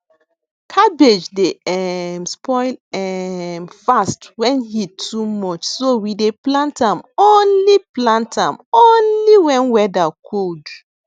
cabbage dey um spoil um fast when heat too much so we dey plant am only plant am only when whether cold